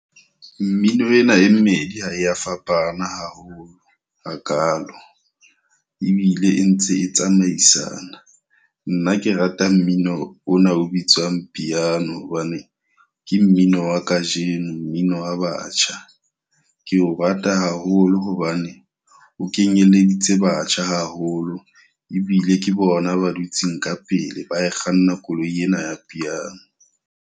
Mmino ena e mmedi ha e a fapana haholo hakalo. Ebile e ntse e tsamaisana. Nna ke rata mmino ona o bitswang piano hobane ke mmino wa ka jeno, mmino wa batjha. Ke o rata haholo hobane o kenyeleditse batjha haholo ebile ke bona ba dutseng ka pele ba kganna koloi ena ya piano.